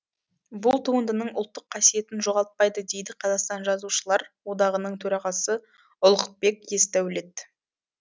бұл туындының ұлттық қасиетін жоғалтпайды дейді қазақстан жазушылар одағының төрағасы ұлықбек есдәулет